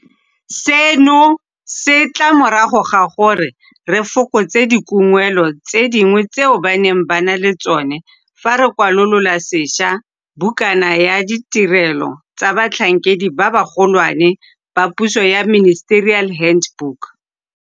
Seno se tla morago ga gore re fokotse dikungwelo tse dingwe tseo ba neng ba na le tsona fa re kwalola sešwa bukana ya ditirelo tsa batlhankedi ba bagolwane ba puso ya Ministerial Hand book.